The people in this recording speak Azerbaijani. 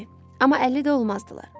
Amma 50 də olmazdılar.